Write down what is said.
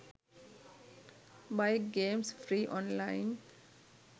bike games free online